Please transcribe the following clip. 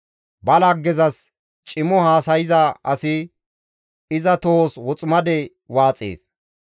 Ba laggezas cimo haasayza asi iza tohos woximade waaxees.